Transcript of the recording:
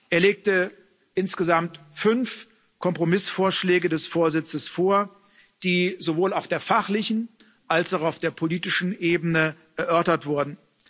Er legte insgesamt fünf Kompromissvorschläge des Vorsitzes vor, die sowohl auf der fachlichen als auch auf der politischen Ebene erörtert wurden.